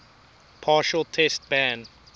partial test ban